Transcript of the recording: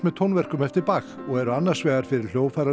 tónverkum eftir og eru annars vegar fyrir